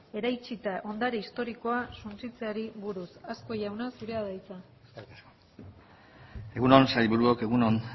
eraitsita ondare historikoa suntsitzeari buruz azkue jauna zurea da hitza egun on sailburuok egun on